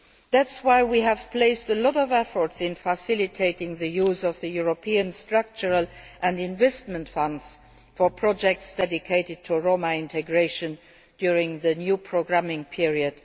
That is why we have put a lot of effort into facilitating the use of the European Structural and Investment Funds for projects dedicated to Roma integration during the new programming period